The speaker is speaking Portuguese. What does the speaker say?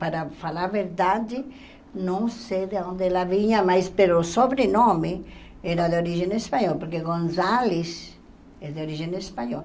Para falar a verdade, não sei de onde ela vinha, mas pelo sobrenome, era de origem espanhola, porque Gonzalez é de origem espanhola.